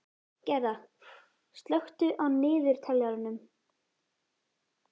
Gerða, slökktu á niðurteljaranum.